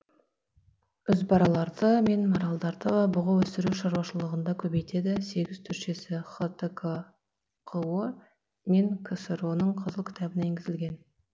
үзбараларды мен маралдарды бұғы өсіру шаруашылықтарында көбейтеді сегіз түршесі хтқо мен ксро ның қызыл кітабына еңгізілген